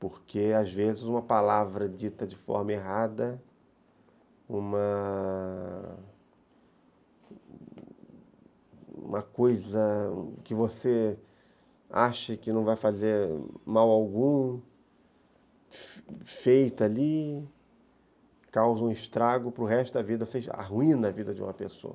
Porque, às vezes, uma palavra dita de forma errada, uma... uma coisa que você acha que não vai fazer mal algum, feita ali, causa um estrago para o resto da vida, ou seja, arruína a vida de uma pessoa.